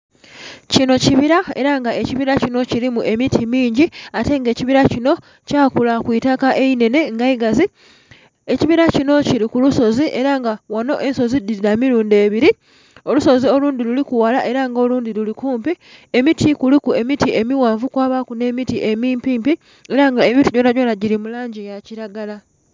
Kinho kibila ela nga ekibila kinho kilimu emiti mingi ate nga ekibila kinho kya kula ku itaka einenhe nga igazi. Ekibila kinho kili ku lusozi ela nga ghanho ensozi dhili dha milundhi ebili, olusozi olundhi luliku ghala nga olundhi luli kumpi, emiti kuliku emiti emighanvu kwabaku emiti emimpimpi ela nga emiti gyonagyona gili mu langi ya kilagala.